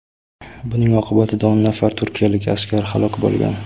Buning oqibatida o‘n nafar turkiyalik askar halok bo‘lgan.